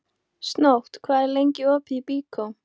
Snót, hvað er lengi opið í Byko?